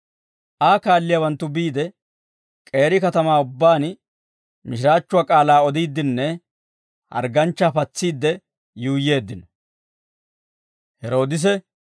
Aa kaalliyaawanttu biide, k'eeri katamaa ubbaan mishiraachchuwaa k'aalaa odiiddenne hargganchchaa patsiidde yuuyyeeddino.